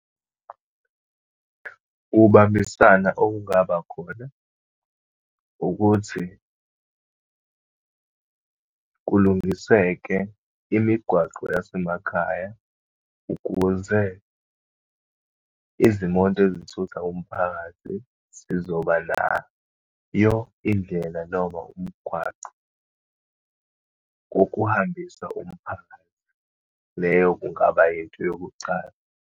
Ukubambisana okungabakhona, ukuthi kulungiseke imigwaqo yasemakhaya ukuze izimoto ezithutha umphakathi zizobanayo indlela, noma umgwaqo wokuhambisa umphakathi. Leyo kungaba yinto yokucala.